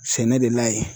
Sɛnɛ de la ye